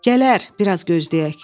Gələr, bir az gözləyək.